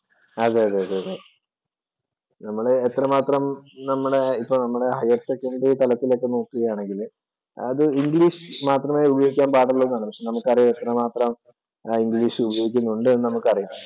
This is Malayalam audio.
അതേയതെ, അതേ. നമ്മള് എത്രമാത്രം നമ്മടെ ഇപ്പൊ നമ്മള് ഹയര്‍സെക്കന്‍ഡറി തലത്തില്‍ ഒക്കെ നോക്കുകയാണെങ്കില്‍ അത് ഇംഗ്ലീഷ് മാത്രേ ഉപയോഗിക്കാന്‍ പാടുള്ളൂ എന്നാണ്. പക്ഷേ എത്രമാത്രം ഇംഗ്ലീഷ് ഉപയോഗിക്കുന്നുണ്ട് എന്ന് നമുക്കറിയാം.